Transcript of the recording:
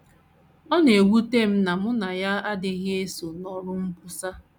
Ọ na - ewute m na mụ na ya adịkwaghị eso n’ọrụ nkwusa.